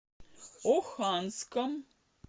оханском